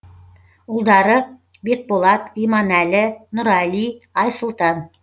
ұлдары бекболат иманәлі нұрәли айсұлтан